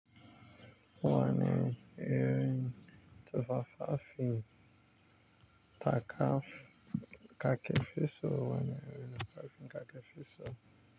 Wane Erin tufafafin taka kaf-ka ke fesoh wane Erin kafin ka ke fesoh.